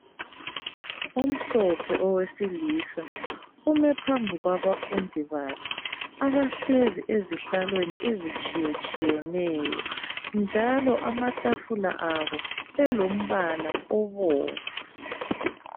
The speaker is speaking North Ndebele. Omhlophe owesilisa ume phambi kwabafundi bakhe. Abahlezi ezihlalweni ezitshiye tshiyeneyo njalo amatafula abo elombala obomvu.